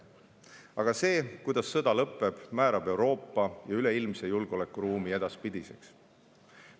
Aga see, kuidas sõda lõppeb, määrab Euroopa ja üleilmse julgeolekuruumi edaspidiseks.